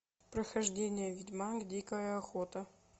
прохождение ведьмак дикая охота